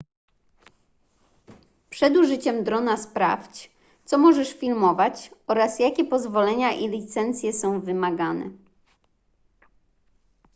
przed użyciem drona sprawdź co możesz filmować oraz jakie pozwolenia i licencje są wymagane